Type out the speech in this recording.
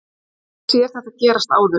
Ég hef séð þetta gerast áður.